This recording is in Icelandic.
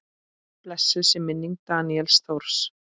Blessuð sé minning Daníels Þóris.